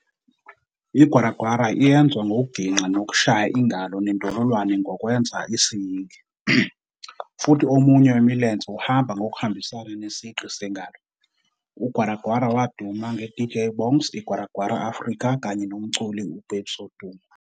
I-IGwara gwara iyenzwa ngokugingqa nokushaya ingalo nendololwane ngokwenza isiyingi, futhi omunye wemilenze uhamba ngokuhambisana nesigqi sengalo. UGwara gwara waduma nge-DJ Bongz IGwara gwara Afrika kanye nomculi uBabes Wodumo.